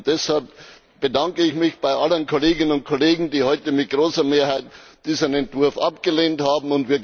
Deshalb bedanke ich mich bei allen Kolleginnen und Kollegen, die heute mit großer Mehrheit diesen Entwurf abgelehnt haben.